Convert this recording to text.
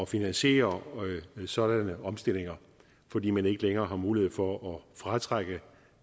finansiere sådanne omstillinger fordi man ikke længere har mulighed for at fratrække